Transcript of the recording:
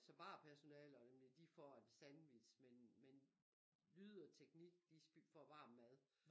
Så barpersonale og dem der de får en sandwich men men lyd og teknik de får varm mad